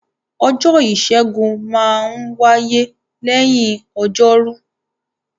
Ọjọ́ Ìṣẹ́gun maa n wáyé lẹ́yìn Ọjọ́rú